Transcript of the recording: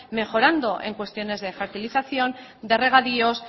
mejorando en cuestiones de fertilización de regadíos